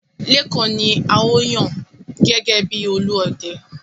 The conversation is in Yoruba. Lékan ni a ó yàn gẹ́gẹ́ bi Olúọdẹ.